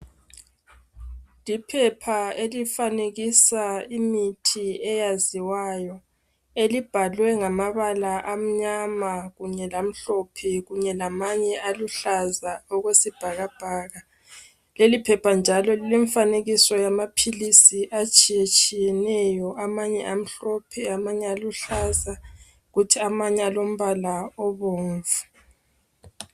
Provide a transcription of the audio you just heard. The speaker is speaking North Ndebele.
Liphepha elifanekisa imithi eyaziwayo elibhalwe ngamabala amnyama kunye lamhlophe kunye lamanye aluhlaza okwesibhakabhaka. Leli phepha njalo lilemifanekiso yamapilisi atshiyeneyo. Amanye amhlophe amanye aluhlaza kuthi amanye alombala obomvu.